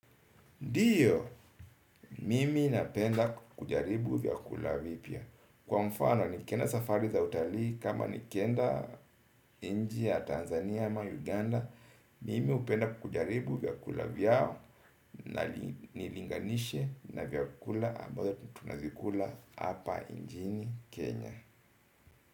Ndio, mimi napenda kujaribu vyakula vipya. Kwa mfano nikienda safari za utalii kama nikienda nchi ya Tanzania ama Uganda, mimi hupenda kujaribu vyakula vyao na nilinganishe na vyakula ambazo tunazikula hapa chini Kenya.